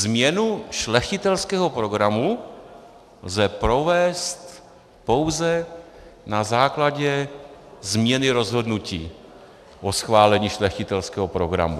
"Změnu šlechtitelského programu lze provést pouze na základě změny rozhodnutí o schválení šlechtitelského programu."